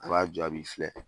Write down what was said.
A b'a jɔ ,a b'i filɛ!